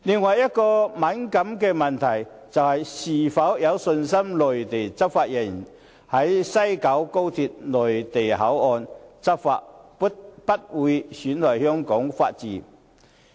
另一個敏感的問題是，"是否相信內地執法人員在西九高鐵內地口岸區執法，不會損害香港法治？